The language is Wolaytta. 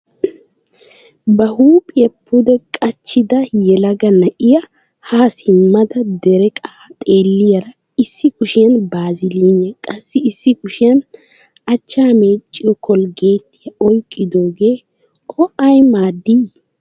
Ba huuphiyaa pudde qachchidda yelaga na'iyaa haa simmada dereqqa xeeliyara, issi kushiyaan baazilliniya qassi issi kushiyaan achchaa meecciyo kologeettiya oyqqidogee o ay maadii?